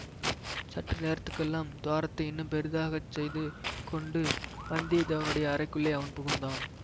சற்று நேரத்துக்கெல்லாம் துவாரத்தை இன்னும் பெரிதாகச் செய்து கொண்டு வந்தியத்தேவனுடைய அறைக்குள்ளே அவன் புகுந்தான்